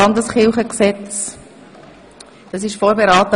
Dieses wurde in der SAK vorberaten.